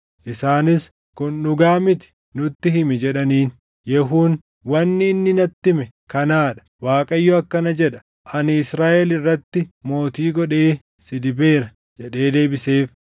Isaanis, “Kun dhugaa miti! Nutti himi” jedhaniin. Yehuun, “Wanni inni natti hime kanaa dha; ‘ Waaqayyo akkana jedha: Ani Israaʼel irratti mootii godhee si dibeera’ ” jedhee deebiseef.